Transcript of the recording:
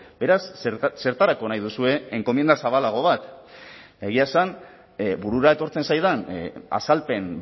beraz zertarako nahi duzue enkomienda zabalago bat egia esan burura etortzen zaidan azalpen